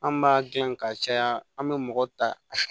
An b'a dilan ka caya an bɛ mɔgɔ ta